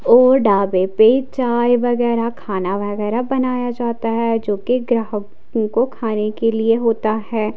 और डाबे पे चाय वगैरह खाना वगैरह बनाया जाता है जो कि ग्राहकों को खाने के लिए होता है।